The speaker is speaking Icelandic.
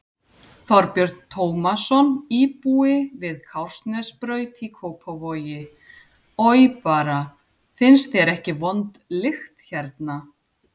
Þorbjörn Tómasson, íbúi við Kársnesbraut í Kópavogi: Oj bara, finnst þér ekki vond lykt hérna?